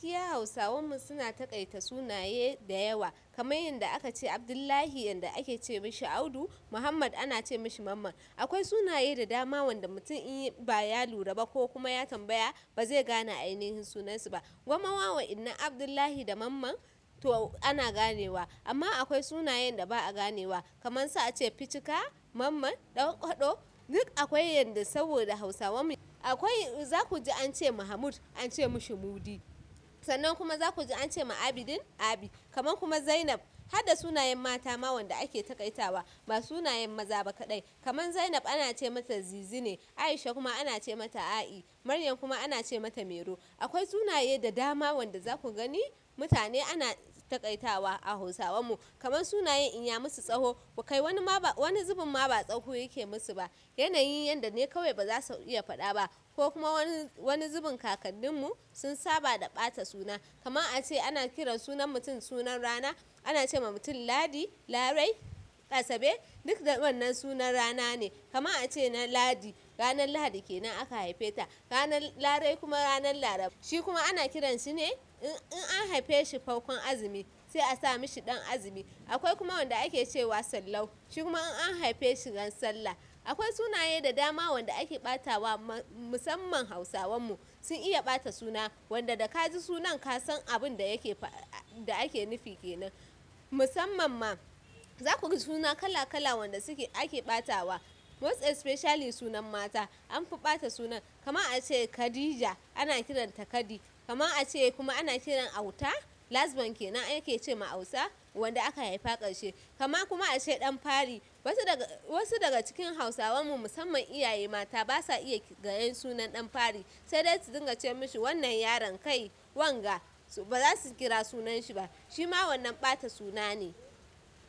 Gaskiya Hausawan mu suna taƙaita sunaye da yawa kamar yanda aka ce Abdullahi, yanda ake ce mashi Audu, Muhammad ana ce mashi Mamman. Akwai sunaye da dama wanda mutum in ba ya lura ba ko kuma ya tambaya ba zai gane ainihin sunansu ba. Gwammawa idan Abdullahi da Mamman to ana ganewa amma akwai sunayen da ba a ganewa kamar su ace Fitika, Mamman, Ɗanƙwaɗo duk akwai yanda saboda Hausawan mu. Akwai za ku ji an ce ma mahmud an ce mashi Mudi. Sannan kuma za ku ji an ce ma Abidin Abi. Kamar kuma Zainab. Har da sunayen mata ma wanda ake taƙaitawa ba sunayen maza ba kaɗai. Kamar Zainab ana ce mata Zizine, Aisha kuma ana ce mata A'i, Maryam kuma ana ce mata Mero. Akwai sunaye da dama wanda za ku gani mutane ana taƙaitawa a Hausawan mu. Kamar sunayen in ya musu tsawo ba kai wani ma ba wani zubin ma ba tsawo yake musu ba. Yanayin yanda ne kawai ba za su iya faɗa ba ko kuma wani wani zubin kakannin mu sun saba da ɓata suna. Kamar ace ana kiran sunan mutum sunan rana, ana ce wa mutum Ladi, Larai, Asabe duk wannan sunan rana ne. Kamar ace na Ladi ranar Lahadi kenan aka haife ta, ranar Larai kuma ranar Laraba. Shi kuma ana kiranshi ne in in an haife shi farkon azumi sai a sa mashi ɗan azumi. Akwai kuma wanda ake ce wa Sallau. Shi kuma in an haife shi ran sallah. Akwai sunaye da dama wanda ake ɓatawa musamman Hausawan mu sun iya ɓata suna. Wanda da ka ji sunan ka san abun da yake faɗa da ake nufi kenan. Musamman ma za ku ji suna kala kala wanda suke ake ɓatawa. Most especially sunan mata an fi ɓata sunan. Kamar ace Khadija ana kiranta Kadi. Kamar ace kuma ana ƙirar Auta last born kenan ake ce ma Auta wanda aka haifa ƙarshe. Kamar kuma ace ɗan fari wasu daga wasu daga cikin Hausawan mu musamman iyaye mata ba sa iya gayen sunan ɗan fari sai dai su dinga ce mashi wannan yaron kai wanga ba za su kira sunanshi ba. Shi ma wannan ɓata suna ne.